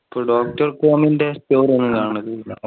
പ്പോ doctor ൻ്റെ ഒന്നും കാണാറില്ല